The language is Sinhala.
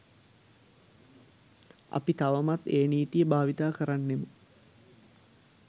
අපි තවමත් ඒ නීතිය භාවිතා කරන්නෙමු.